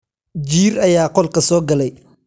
Jiir ayaa qolka soo galay.